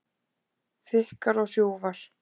Þykkar og hrjúfar.